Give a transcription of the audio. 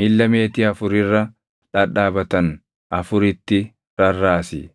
miilla meetii afur irra dhadhaabatan afuritti rarraasi.